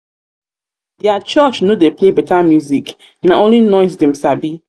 their church no dey play better music na only noise dem sabi